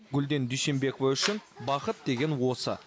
гүлден дүйсенбекова үшін бақыт деген осы